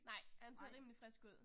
Nej, han ser rimelig frisk ud